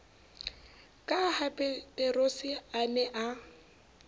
ka hapeterose a ne a